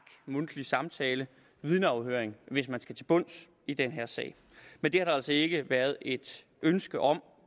mundtlig samtale vidneafhøringer hvis man skal til bunds i den her sag men det har der altså ikke været et ønske om